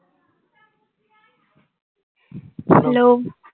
hello